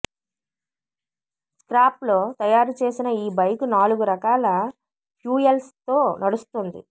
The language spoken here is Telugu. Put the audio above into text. స్క్రాప్ తో తయారు చేసిన ఈ బైకు నాలుగు రకాల ప్యూయల్స్ తో నడుస్తుంది